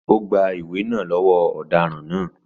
Ó gba ìwé náà lọ́wọ́ ọ̀daràn náà.